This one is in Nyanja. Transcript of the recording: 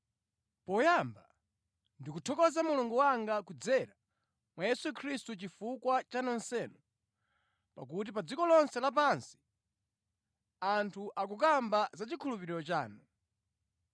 Poyamba, ndikuthokoza Mulungu wanga kudzera mwa Yesu Khristu chifukwa cha nonsenu, pakuti pa dziko lonse lapansi anthu akukamba za chikhulupiriro chanu.